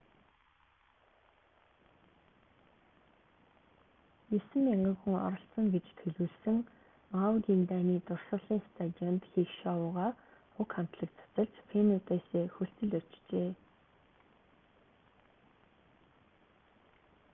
9,000 хүн оролцоно гэж төлөвлөсөн мауигийн дайны дурсгалын стадионд хийх шоугаа уг хамтлаг цуцалж фенүүдээсээ хүлцэл өчжээ